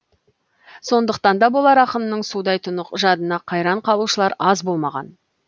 сондықтан да болар ақынның судай тұнық жадына қайран қалушылар аз болмаған